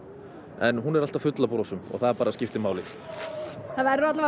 en hún er alltaf full af brosum og það verður